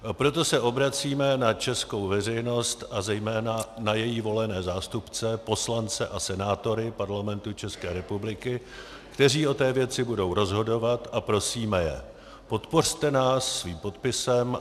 Proto se obracíme na českou veřejnost a zejména na její volené zástupce, poslance a senátory Parlamentu České republiky, kteří o té věci budou rozhodovat, a prosíme je: podpořte nás svým podpisem.